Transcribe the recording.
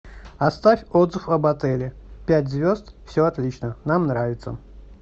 оставь отзыв об отеле пять звезд все отлично нам нравится